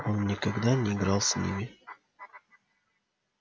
он никогда не играл с ними